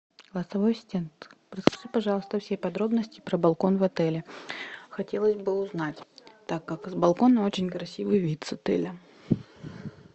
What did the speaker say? голосовой ассистент расскажи пожалуйста все подробности про балкон в отеле хотелось бы узнать так как с балкона очень красивый вид с отеля